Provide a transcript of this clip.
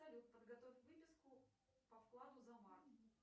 салют подготовь выписку по вкладу за март